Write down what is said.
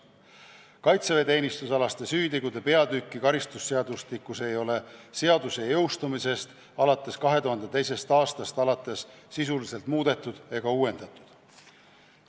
Kaitseväeteenistusalaste süütegude peatükki ei ole karistusseadustikus selle jõustumisest, 2002. aastast alates sisuliselt muudetud ega uuendatud.